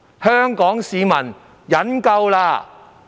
香港市民忍夠了！